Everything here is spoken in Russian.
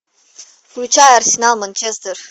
включай арсенал манчестер